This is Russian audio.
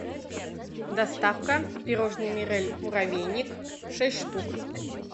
доставка пирожное мирель муравейник шесть штук